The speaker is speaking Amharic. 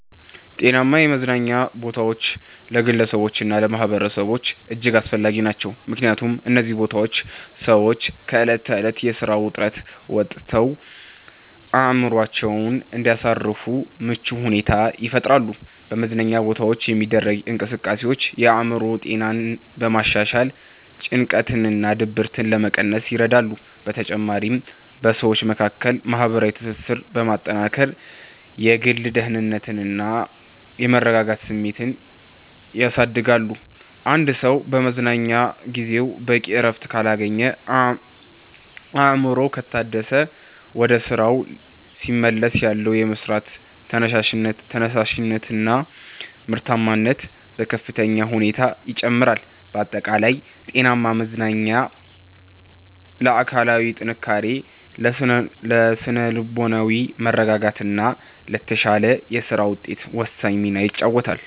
ጤናማ የመዝናኛ ቦታዎች ለግለሰቦችና ለማኅበረሰቦች እጅግ አስፈላጊ ናቸው። ምክንያቱም እነዚህ ቦታዎች ሰዎች ከዕለት ተዕለት የሥራ ውጥረት ወጥተው አእምሮአቸውን እንዲያሳርፉ ምቹ ሁኔታን ይፈጥራሉ። በመዝናኛ ቦታዎች የሚደረጉ እንቅስቃሴዎች የአእምሮ ጤናን በማሻሻል ጭንቀትንና ድብርትን ለመቀነስ ይረዳሉ። በተጨማሪም በሰዎች መካከል ማህበራዊ ትስስርን በማጠናከር የግል ደህንነትና የመረጋጋት ስሜትን ያሳድጋሉ። አንድ ሰው በመዝናኛ ጊዜው በቂ እረፍት ካገኘና አእምሮው ከታደሰ፣ ወደ ሥራው ሲመለስ ያለው የመሥራት ተነሳሽነትና ምርታማነት በከፍተኛ ሁኔታ ይጨምራል። ባጠቃላይ ጤናማ መዝናኛ ለአካላዊ ጥንካሬ፣ ለሥነ-ልቦናዊ መረጋጋትና ለተሻለ የሥራ ውጤት ወሳኝ ሚና ይጫወታል።